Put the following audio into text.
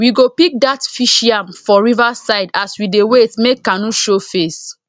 we go pick dat fish yam for river side as we dey wait make canoe show face